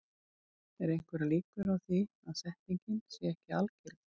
Eru einhverjar líkur á því að setningin sé ekki algild?